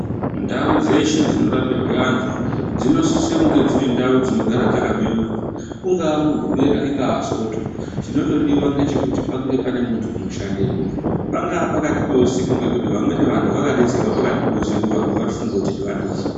Ndau dzeshe dzinorapirwe antu dzinosise kunge dziri ndau dzinogara dzakabeurwa. Ungaa Mugubera ingaa Soto, chinondodiwa ngechekuti pange pane muntu unoshandepo. Pangaa pakati pousiku ngokuti vamweni vantu vakadetserwa pakati pousiku vamwe varikufunga kutoti vatofa.